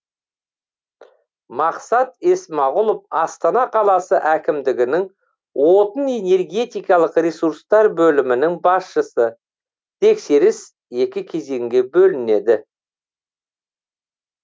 мақсат есмағұлов астана қаласы әкімдігінің отын энергетикалық ресурстар бөлімінің басшысы тексеріс екі кезеңге бөлінеді